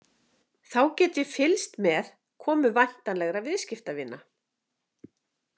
Þá get ég fylgst með komu væntanlegra viðskiptavina.